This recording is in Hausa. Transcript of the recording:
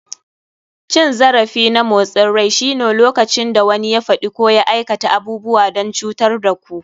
Cin zarafi na motsin rai shine lokacin da wani ya faɗi ko ya aikata abubuwa don cutar da ku.